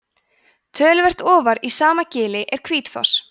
töluvert ofar í sama gili er hvítfoss